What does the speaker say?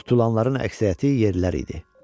Tutulanların əksəriyyəti yerlilər idi.